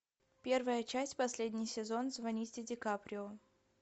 первая часть последний сезон звоните ди каприо